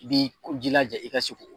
I b'i jilaja i ka se k'o